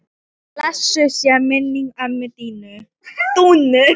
Blessuð sé minning ömmu Dúnu.